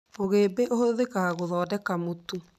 Mũgĩmbĩ ũhũthĩkaga gũthondeka mũtu.